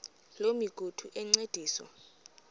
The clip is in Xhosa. loo migudu encediswa